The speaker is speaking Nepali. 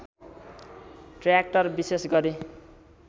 ट्रयाक्टर विशेष गरी